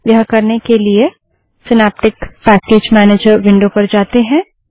यह करने के लिए सिनैप्टिक पैकेज मैनेजर विंडो पर जाते है